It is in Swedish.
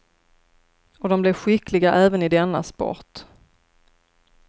Och de blev skickliga även i denna sport.